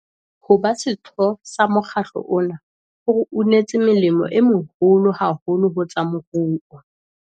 Ho ba setho sa mokgatlo ona ho re unetse molemo o moholo haholo ho tsa moruo.